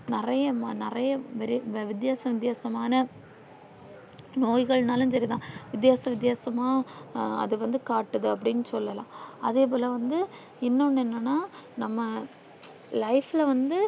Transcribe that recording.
நெறைய நெறைய விரை வித்யாசம் வித்யாசமான நோய்கள் நாளும் சரிதான் வித்யாசம் வித்யாசமா அது வந்து காட்டுது அப்டி சொல்லலாம் அதே போல வந்து இன்னொன்னு என்னன்னா நம்ம life ல வந்து